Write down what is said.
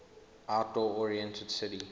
outdoor oriented city